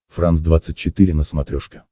франс двадцать четыре на смотрешке